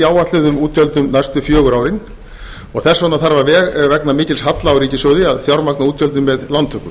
áætluðum útgjöldum næstu fjögur árin því þarf vegna mikils halla ríkissjóðs að fjármagna útgjöldin með lántökum